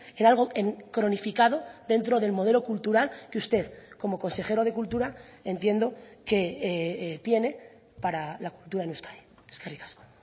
en algo cronificado dentro del modelo cultural que usted como consejero de cultura entiendo que tiene para la cultura en euskadi eskerrik asko